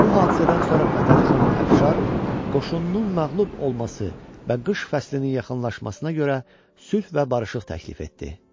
Bu hadisədən sonra Fətəli xan Əfşar qoşununun məğlub olması və qış fəslinin yaxınlaşmasına görə sülh və barışıq təklif etdi.